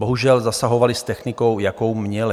Bohužel zasahovali s technikou, jakou měli.